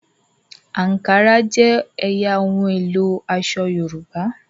Ankara jé ẹyà ohun èlo aṣọ yorùbá.